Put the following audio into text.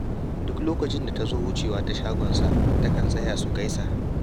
Duk lokacin da ta zo wucewa ta shagonsa, takan tsaya su gaisa